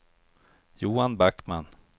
Johan Backman